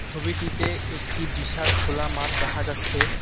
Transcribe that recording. ছবিটিতে একটি বিশাল খোলা মাঠ দেখা যাচ্ছে এ--